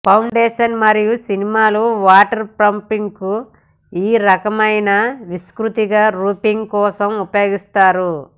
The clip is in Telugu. ఫౌండేషన్ మరియు సినిమాలు వాటర్ఫ్రూఫింగ్కు ఈ రకమైన విస్తృతంగా రూఫింగ్ కోసం ఉపయోగిస్తారు